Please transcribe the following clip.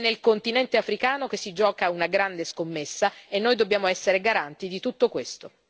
È nel continente africano che si gioca una grande scommessa e noi dobbiamo essere garanti di tutto questo.